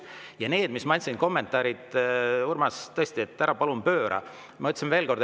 Ja need kommentaarid, mis ma andsin – Urmas, tõesti, ära palun pööra.